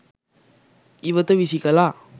ඉවත විසි කළා.